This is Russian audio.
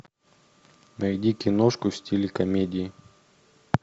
найди киношку в стиле комедии